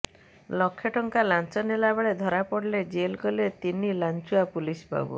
ଲକ୍ଷେ ଟଙ୍କା ଲାଞ୍ଚ ନେଲାବେଳେ ଧରାପଡ଼ିଲେ ଜେଲ୍ ଗଲେ ତିନି ଲାଞ୍ଚୁଆ ପୁଲିସ ବାବୁ